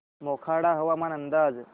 मोखाडा हवामान अंदाज